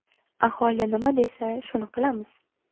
Aholi nima desa, shuni qilamiz”.